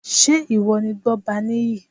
Ṣé ìwọ ni Gbọ́baníyì?